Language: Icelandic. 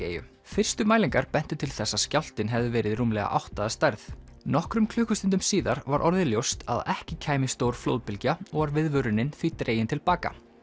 eyju fyrstu mælingar bentu til þess að skjálftinn hefði verið rúmlega átta að stærð nokkrum klukkustundum síðar var orðið ljóst að ekki kæmi stór flóðbylgja og var viðvörunin því dregin til baka